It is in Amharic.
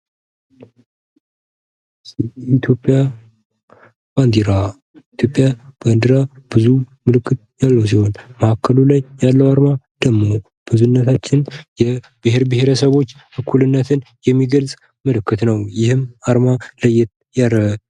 የኢትዮጵያ ባንዴራ ብዙ ምልክቶች ያሉት ሲሆን መሀሉ ላይ ያለው አርማ የብሄር ብሄረሰቦችን እኩልነትን የሚገልፅ ነው